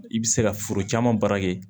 I bɛ se ka foro caman baara kɛ